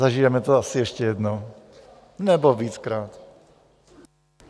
Zažijeme to asi ještě jednou, nebo víckrát.